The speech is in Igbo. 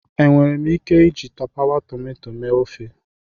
Enwere m ike iji tapawa tomato mee ofe?